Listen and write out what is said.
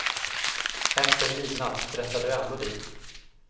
Efter midnatt stressar du ändå dit.